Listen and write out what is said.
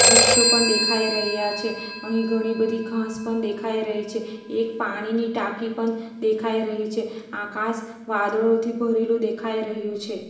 વૃક્ષો પણ દેખાઈ રહ્યા છે અહીં ઘણી બધી ઘાસ પણ દેખાઈ રહી છે એક પાણીની ટાંકી પન દેખાઈ રહી છે આકાશ વાદળોથી ભરેલું દેખાઈ રહ્યું છે.